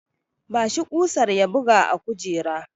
Ba shi kusar ya buga a kujera!